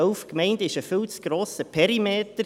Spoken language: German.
Elf Gemeinden, das ist ein viel zu grosser Perimeter.